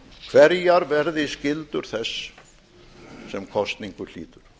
hverjar verði skyldur þess sem kosningu hlýtur